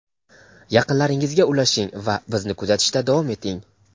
Yaqinlaringizga ulashing va bizni kuzatishda davom eting.